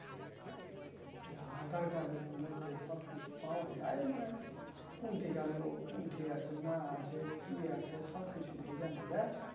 aadhar card এর মধ্যে সবকিছু পাওয়া যায় মানে খুঁটি কার লোক কুন্ঠি আছে না আছে কি আছে সবকিছু নাকি জানা যায়